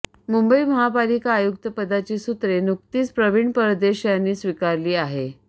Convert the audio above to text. मुंबई महापालिका आयुक्तपदाची सुत्रे नुकतीच प्रवीण परदेश यांनी स्वीकारली आहेत